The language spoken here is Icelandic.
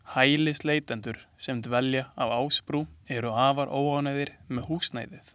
Hælisleitendur sem dvelja á Ásbrú eru afar óánægðir með húsnæðið.